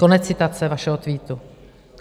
Konec citace vašeho tweetu.